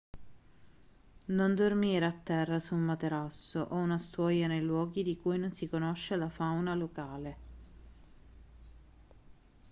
non dormire a terra su un materasso o una stuoia nei luoghi di cui non si conosce la fauna locale